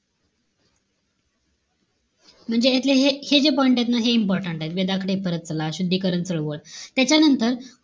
म्हणजे यातले हे जे point एत ना हे important आहेत. वेगाकडे परत चला, शुद्धीकरण चळवळ. त्याच्यानंतर,